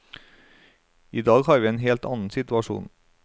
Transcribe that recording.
I dag har vi en helt annen situasjon.